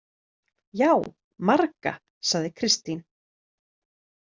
Já, marga, sagði Kristín.